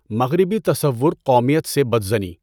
مغربی تصور قومیت سے بدظنی